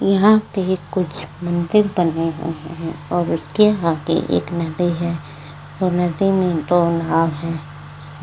यहाँ पे कुछ मंदिर बने हुए हैं और उसके आगे एक नदी है और नदी में दो नाव हैं।